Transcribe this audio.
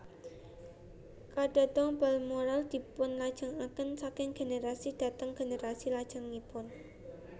KadhatonBalmoral dipunlajengaken saking generasi dhateng generasi lajengipun